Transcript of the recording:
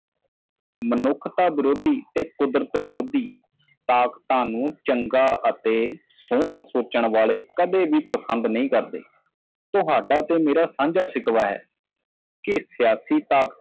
ਮਨੁੱਖ ਵਿਰੋਧੀ ਅਤੇ ਕੁਦਰਤ ਵਿਰੋਧੀ ਜੋ ਤਾਕਤਾਂ ਨੂੰ ਚੰਗੇ ਅਤੇ ਸੁੰਦਰ ਸਮਝਦੇ ਹਨ ਕਦੇ ਪਸੰਦ ਨਹੀਂ ਤੁਹਾਡੇ ਅਤੇ ਮੇਰੇ ਕੋਲ ਇੱਕ ਸਬਕ ਹੈ ਇੱਕ ਸਿਆਸੀ ਹੋਣ ਤੱਕ